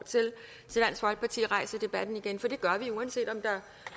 til dansk folkeparti rejser debatten igen for det gør vi uanset om der